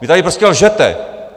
Vy tady prostě lžete!